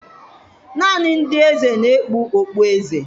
Naanị ndị eze na-ekpu okpueze